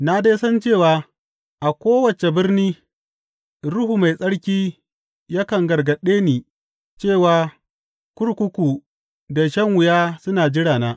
Na dai san cewa a kowace birni Ruhu Mai Tsarki yakan gargaɗe ni cewa kurkuku da shan wuya suna jirana.